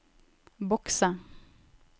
bokse